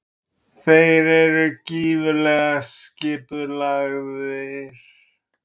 Þeir eru gífurlega skipulagðir.